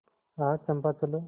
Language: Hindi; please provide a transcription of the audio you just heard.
आह चंपा चलो